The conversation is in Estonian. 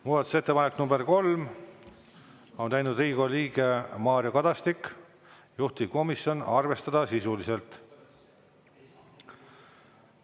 Muudatusettepanek nr 3, on teinud Riigikogu liige Mario Kadastik, juhtivkomisjon: arvestada sisuliselt.